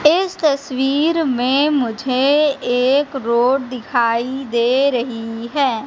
इस तस्वीर में मुझे एक रोड दिखाई दे रही है।